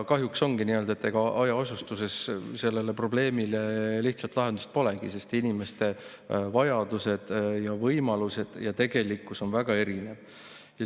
Kahjuks nii ongi, et hajaasustuses sellele probleemile lihtsat lahendust polegi, sest inimeste vajadused ja võimalused ning tegelikkus on väga erinevad.